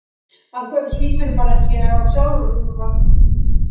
Af hverju svífurðu bara ekki á hann sjálf?